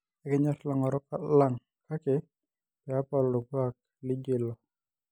Ekinyor ilang'orok lang kake peepal orkuak lijo ilo.